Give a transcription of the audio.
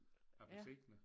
Appelsiner